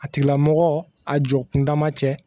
A tigilamɔgɔ a jɔ kunda ma cɛ